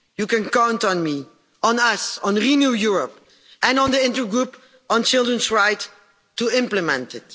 You can count on me, on us, on Renew Europe and on the Intergroup on Children's Rights to implement it.